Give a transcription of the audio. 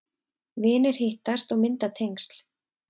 Vinir hittast og mynda tengsl